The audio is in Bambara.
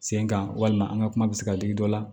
Sen kan walima an ka kuma bɛ se ka digi dɔ la